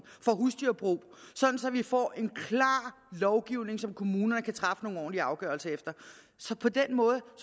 for husdyrbrug så vi får en klar lovgivning som kommunerne kan træffe nogle ordentlige afgørelser efter så på den måde